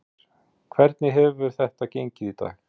Þórhildur: Hvernig hefur þetta gengið í dag?